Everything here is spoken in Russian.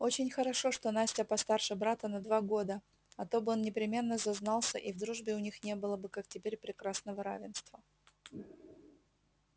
очень хорошо что настя постарше брата на два года а то бы он непременно зазнался и в дружбе у них не было бы как теперь прекрасного равенства